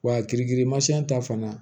Wa kirikirimasiyɔn ta fana